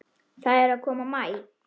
Það er að koma maí.